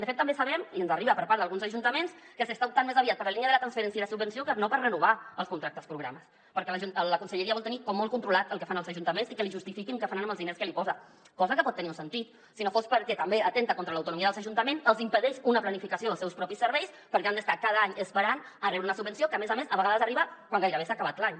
de fet també sabem i ens arriba per part d’alguns ajuntaments que s’està optant més aviat per la línia de la transferència i la subvenció que no per renovar els contractes programa perquè la conselleria vol tenir com molt controlat el que fan els ajuntaments i que li justifiquin què faran amb els diners que hi posa cosa que pot tenir un sentit si no fos perquè també atempta contra l’autonomia dels ajuntaments els impedeix una planificació dels seus propis serveis perquè han d’estar cada any esperant per rebre una subvenció que a més a més a vegades arriba quan gairebé s’ha acabat l’any